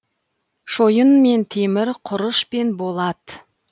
шойын мен темір құрыш пен болат